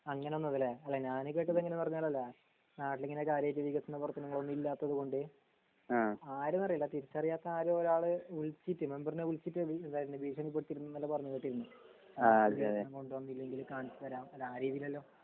അങ്ങനെ വന്നത് ലെ അല്ല കേട്ടത് എങ്ങനെ പറഞ്ഞാൽ ലെ നാട്ടിൽ ഇങ്ങനെ കാര്യയായിട്ട് വികസന പ്രവർത്തനങ്ങളൊന്നും ഇല്ലാത്തത് കൊണ്ട് ആര്ന്ന് അറീല തിരിച്ചറിയാത്ത ആരോ ഒരാൾ വിളിച്ചിട്ട് മെമ്പറിനെ വിളിച്ചിട്ടത് എന്തായിരുന്നു ഭീഷണി പെടുത്തിരുന്നുന്നെല്ലാ പറഞ്ഞ് കേട്ടിരുന്നു വികസനം കൊണ്ട് വന്നില്ലെങ്കിൽ കാണിച്ച് തരാം അല്ല ആ രീതിലല്ലോ